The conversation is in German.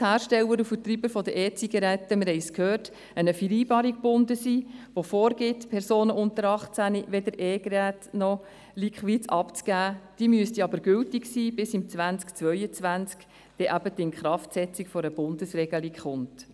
Die Hersteller und Vertreiber der E-Zigaretten sind zwar an eine Vereinbarung gebunden, die vorgibt, Personen unter 18 Jahren keine E-Geräte oder Liquids zu geben, diese müsste jedoch gültig sein, bis im Jahr 2022 die Inkraftsetzung der Bundesregelung folgt.